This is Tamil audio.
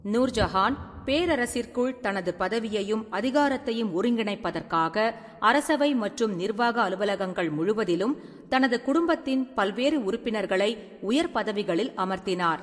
நூர்ஜஹான் பேரரசிற்குள் தனது பதவியையும் அதிகாரத்தையும் ஒருங்கிணைப்பதற்காக, அரசவை மற்றும் நிர்வாக அலுவலகங்கள் முழுவதிலும் தனது குடும்பத்தின் பல்வேறு உறுப்பினர்களை உயர் பதவிகளில் அமர்த்தினார்.